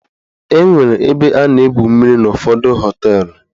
Enwere ebe a na-egwu mmiri n'ụfọdụ họteelụ.